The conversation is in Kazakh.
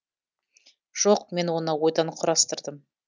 жоқ мен оны ойдан құрастырдым